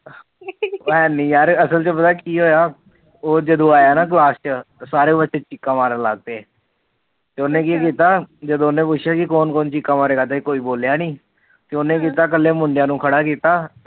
ਮੈ ਨੀ ਯਾਰ ਅਸਲ ਚ ਪਤਾ ਕੀ ਹੋਇਆ ਜਦੋ ਆਇਆ ਨਾ ਕਲਾਸ ਚ ਸਾਰੇ ਬੱਚੇ ਚੀਕਾ ਮਾਰਨ ਲੱਗ ਪੇ ਤੇ ਉਹਨੇ ਕੀ ਕੀਤਾ ਜਦੋ ਉਹਨੇ ਪੁਸ਼ਿਆ ਕਿ ਕੋਨ ਕੋਨ ਚੀਕਾ ਮਾਰੇਗਾ ਤੇ ਕੋਈ ਬੋਲਿਆ ਨੀ ਉਹਨੇ ਕੀਤਾ ਕਲੇ ਮੁੁਡਿਆ ਨੂੰ ਖੜੇ ਕੀਤਾ